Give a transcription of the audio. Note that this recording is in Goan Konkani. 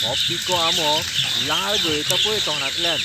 हो पिको आंबो लाळ गळयता पळय तोंडांतल्यान!